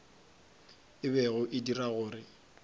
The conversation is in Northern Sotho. e bego e dira gore